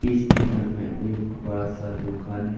इस चित्र में एक बड़ा सा दुकान है।